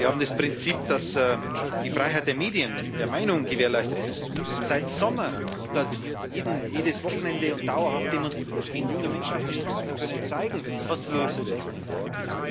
Wir haben das Prinzip, dass die Freiheit der Medien, der Meinung gewährleistet sein muss Seit Sommer wird dort jedes Wochenende und dauerhaft demonstriert, gehen junge Menschen auf die Straße, können zeigen, welche Positionen sie haben.